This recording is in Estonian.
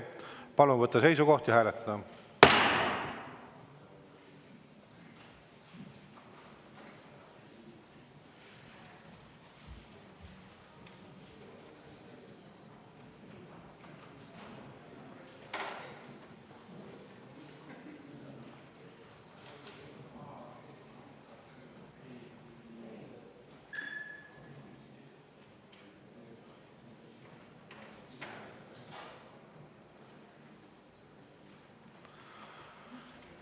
Palun võtta seisukoht ja hääletada!